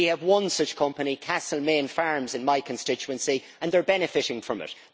We have one such company, Castlemaine Farms, in my constituency, and people are benefiting from it.